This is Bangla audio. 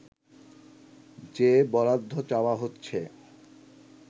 যে বরাদ্দ চাওয়া হচ্ছে